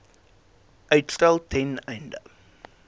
uitstel ten einde